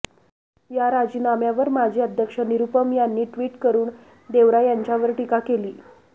या राजीनाम्यावर माजी अध्यक्ष निरुपम यांनी टि्वट करून देवरा यांच्यावर टीका केली